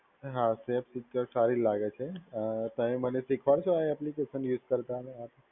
હા safe secure સારી લાગે છે. અ પણ મને શીખવાડશો આ એપ્લિકેશન યુઝ કરતા?